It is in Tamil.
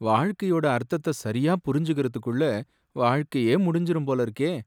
வாழ்க்கையோட அர்த்தத்த சரியா புரிஞ்சுக்கறதுக்குள்ள வாழ்க்கையே முடிஞ்சிடும் போல இருக்கே.